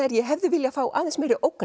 ég hefði viljað fá aðeins meiri ógn